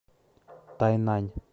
тайнань